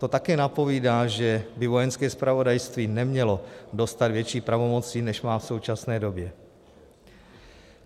To také napovídá, že by Vojenské zpravodajství nemělo dostat větší pravomoci, než má v současné době.